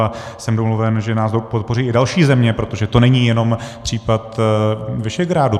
A jsem domluven, že nás podpoří i další země, protože to není jenom případ Visegrádu.